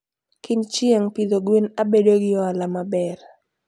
kind chieng, pidho gwen abedo gi ohala maber